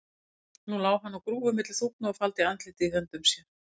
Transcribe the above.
Nú lá hann á grúfu milli þúfna og faldi andlitið í höndum sér.